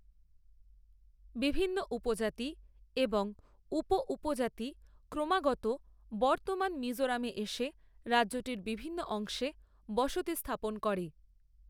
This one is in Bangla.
বিভিন্ন উপজাতি এবং উপ উপজাতি ক্রমাগত বর্তমান মিজোরামে এসে রাজ্যটির বিভিন্ন অংশে বসতি স্থাপন করে।